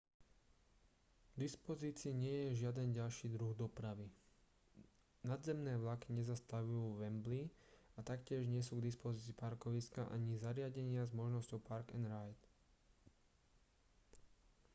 k dispozícii nie je žiaden ďalší druh dopravy nadzemné vlaky nezastavujú vo wembley a taktiež nie sú k dispozícii parkoviská ani zariadenia s možnosťou park-and-ride